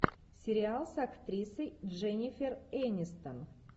сериал с актрисой дженнифер энистон